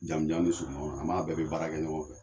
Jamujan ni suruman na an b'a bɛɛ be baara kɛ ɲɔgɔn fɛ